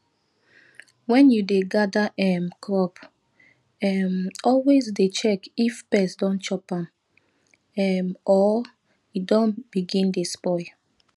when you dey gather um crop um always dey check if pest don chop am um or e don begin dey spoil